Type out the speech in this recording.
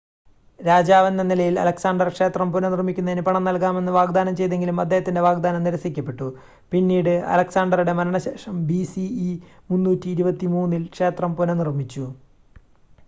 രാജാവെന്ന നിലയിൽ അലക്‌സാണ്ടർ ക്ഷേത്രം പുനഃനിർമ്മിക്കുന്നതിന് പണം നൽകാമെന്ന് വാഗ്‌ദാനം ചെയ്‌തെങ്കിലും അദ്ദേഹത്തിൻ്റെ വാഗ്‌ദാനം നിരസിക്കപ്പെട്ടു പിന്നീട് അലക്‌സാണ്ടറുടെ മരണത്തിന് ശേഷം ബിസിഇ 323-ൽ ക്ഷേത്രം പുനഃനിർമ്മിച്ചു